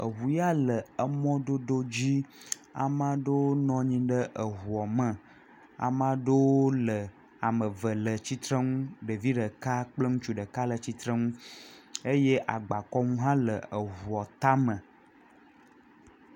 Eŋu ya le emɔdodo dzi, ame aɖewo nɔ anyi ɖe eŋua me, ame aɖewo le ame eve le tsitre nu ɖevi ɖeka kple ŋutsu ɖeka le tsitre nnu eye agbakɔnu hã le eŋua tame.